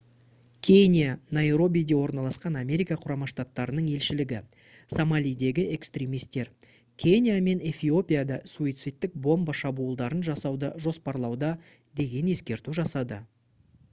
кения найробиде орналасқан америка құрама штаттарының елшілігі «сомалидегі экстремистер» кения мен эфиопияда суицидтік бомба шабуылдарын жасауды жоспарлауда деген ескерту жасады